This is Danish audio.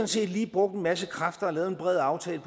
set lige brugt en masse kræfter og lavet en bred aftale